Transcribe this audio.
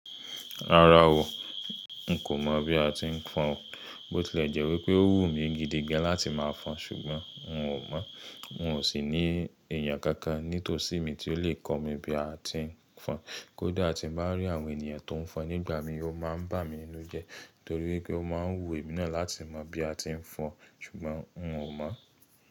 Rárá o, n kò mọ̀ bí a ti ń fọn o. Bó tilẹ̀ jẹ́ wípé ó wù mí gidigan láti máa fọn ṣùgbọ́n n o mọ̀. N ò sì ní èèyàn kankan nítòsí mi tí ó lè kọ́ mi bí a ti ń fọn. Kódà tí n bá rí àwọn ènìyàn tó ń fọn nígbà mí, ó máa ń bà mí inú jẹ torí wípé ó máa ń wù èmi náà láti mọ̀ bí a ti ń fọn ṣùgbọ́n n o mọ̀